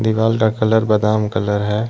दीवाल का कलर बादाम कलर है।